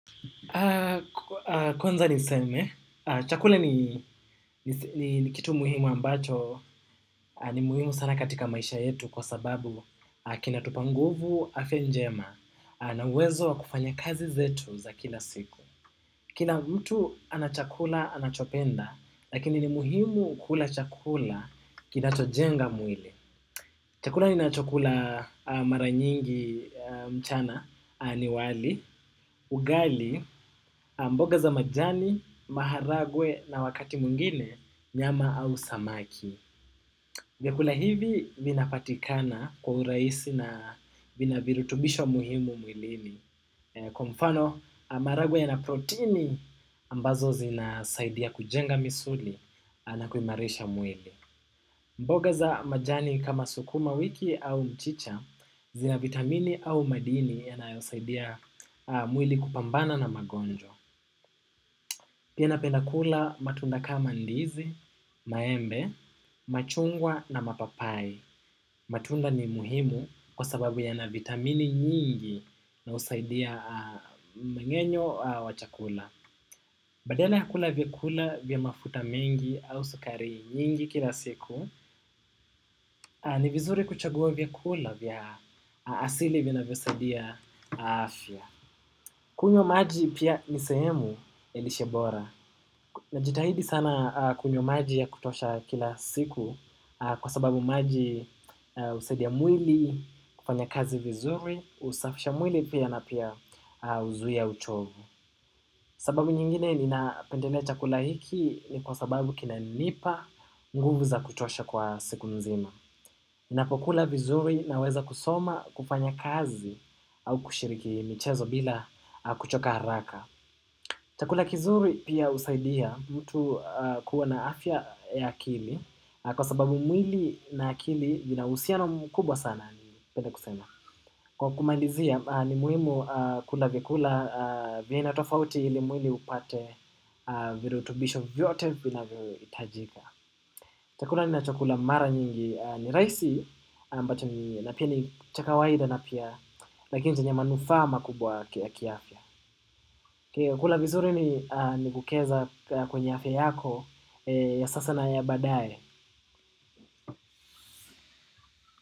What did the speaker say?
Kwanza niseme, chakula ni kitu muhimu ambacho, ni muhimu sana katika maisha yetu kwa sababu kina tupanguvu, afia njema, na uwezo wa kufanya kazi zetu za kila siku. Kila mtu anachakula anachopenda, lakini ni muhimu kula chakula kinachojenga mwili. Chakula ninacho kula maranyingi mchana, aniwali, ugali, mboga za majani, maharagwe na wakati mungine, nyama au samaki. Vyakula hivi, minapatikana kwa uraisi na vinavirutubisho muhimu mwilini. Kwa mfano marague ya na proteini ambazo zinasaidia kujenga misuli na kuimarisha mwili. Mboga za majani kama sukuma wiki au mchicha zina vitamini au madini ya nayo saidia mwili kupambana na magonjwa. Pia napenda kula matunda kama ndizi, maembe, machungwa na mapapai. Matunda ni muhimu kwa sababu yana vitamini nyingi na usaidia mmengenyo wa chakula. Badala ya kula vya kula vya mafuta mengi au sukari nyingi kila siku, ni vizuri kuchagua vyakula vya asili vinavyosaidia afya. Kunyo maji pia nisehemu ya lishe bora. Na jitahidi sana kunyo maji ya kutosha kila siku kwa sababu maji usaidia mwili kufanya kazi vizuri, usafisha mwili pia na pia uzuia uchovu. Sababu nyingine nina pendelea chakula hiki ni kwa sababu kinanipa nguvu za kutosha kwa siku nzima. Ninapokula vizuri na weza kusoma kufanya kazi au kushiriki michezo bila kuchoka haraka. Chakula kizuri pia usaidia mtu kuwa na afya ya akili kwa sababu mwili na akili vina usiano mkubwa sana ni pende kusema. Kwa kumalizia ni muhimu kula vyakula vinatofauti ili mwili upate virutubisho vyote vina vyo itajika. Chakula ninachokula mara nyingi ni rahisi na pia ni cha kawaida na pia lakini chenye manufaa makubwa kiafya. Kula vizuri ni, ni kukeza kwenye afya yako ya sasa na ya baadaye.